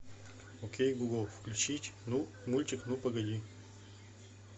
окей гугл включить мультик ну погоди